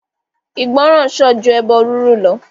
Ìgbọràn sàn ju ẹbọ riru lọ.